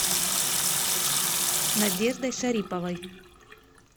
надеждой шариповой